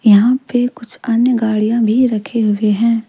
यहां पे कुछ अन्य गाड़ियां भी रखे हुए हैं।